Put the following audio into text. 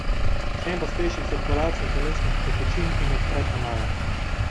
S tem pospeši cirkulacijo telesnih tekočin in odpre kanale.